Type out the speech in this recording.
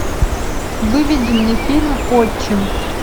выведи мне фильм отчим